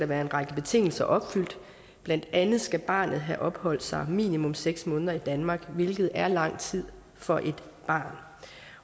være en række betingelser opfyldt blandt andet skal barnet have opholdt sig minimum seks måneder i danmark hvilket er lang tid for et barn